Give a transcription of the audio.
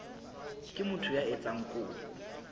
ke motho ya etsang kopo